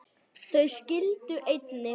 Þau skildu einnig.